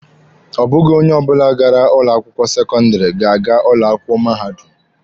Ọ bụghị onye ọbụla gara ụlọ akwụkwọ sekọndịrị ga-aga ụlọ akwụkwọ mahadum.